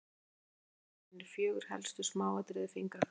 myndin hér fyrir ofan sýnir fjögur helstu smáatriði fingrafara